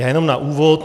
Já jenom na úvod.